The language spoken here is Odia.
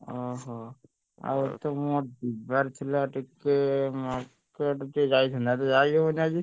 ଓହୋ, ଆଉ ମୋର ଯିବାର ଥିଲା ଟିକେ ଆଜି ଯାଇଥାନ୍ତି ଯାଇହବନି ଆଜି।